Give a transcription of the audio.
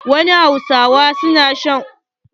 Wasu hausawa na shan miyar kuka.